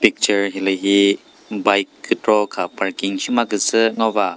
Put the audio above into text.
picture hilühi bike kükro kha parking shimazü ngova.